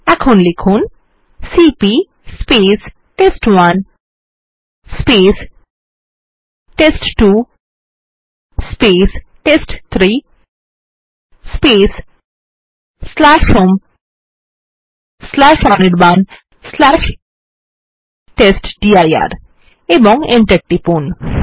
এখন লিখুন CP test one test two test three home Anirban test dir এবং Enter টিপুন